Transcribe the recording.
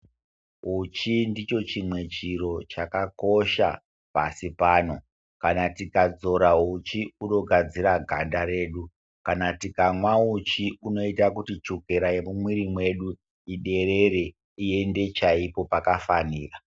Uchi ndicho chimwe chiro chakakosha pashi pano. Kana tikadzora uchi hunogadzira ganda redu, kana tikamwa uchi inoita kuti chukera yemumwiri mwedu iderere ,iende chaipo pakafanira.